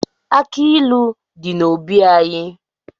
Aki ilu di n'obi anyị